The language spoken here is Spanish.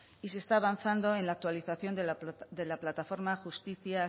y se está avanzando en la actualización de la plataforma justicia